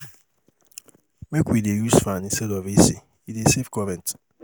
Make we dey use fan instead of AC, e dey save current.